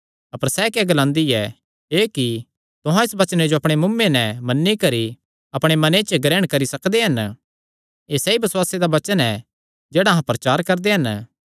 अपर सैह़ क्या ग्लांदी ऐ एह़ कि तुहां इस वचने जो अपणे मुँऐ नैं मन्नी करी अपणे मने च ग्रहण करी सकदे हन एह़ सैई बसुआसे दा वचन ऐ जेह्ड़ा अहां प्रचार करदे हन